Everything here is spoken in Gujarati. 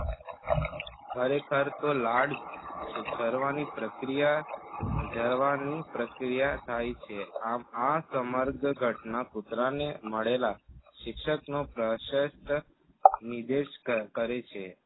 ખરેખર તો લાળ સર્વની પ્રક્રિયા જરવાની પ્રક્રિયા થાય છે. આમ આ સમર્ગ ઘટના કૂતરાને મળેલા શિક્ષકનો પ્રશસ્ત નિદેર્શ કરે છે.